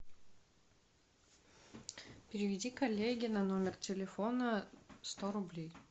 переведи коллеге на номер телефона сто рублей